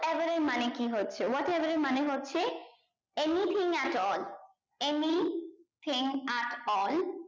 above এর মানে কি হচ্ছে what above এর মানে হচ্ছে anything at all anything at all